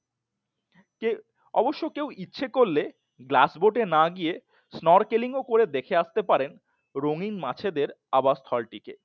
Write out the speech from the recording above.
অবশ্য কেউ ইচ্ছে করলে গ্লাস বোটে এ না গিয়ে snorkeling করে দেখে আসতে পারেন রঙিন মাছ এদের আবাস স্থল টিকে